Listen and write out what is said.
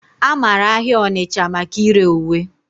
A mara ahịa Onitcha maka ire uwe.